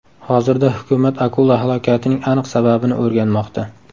Hozirda hukumat akula halokatining aniq sababini o‘rganmoqda.